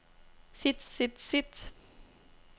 sit sit sit